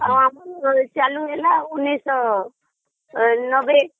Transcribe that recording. ଆମର ଚାଲୁ ହେଲା ଉଣେଇଶ ନବେରେ